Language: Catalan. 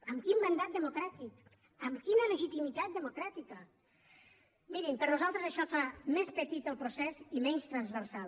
amb quin mandat democràtic amb quina legitimitat democràtica mirin per nosaltres això fa més petit el procés i menys transversal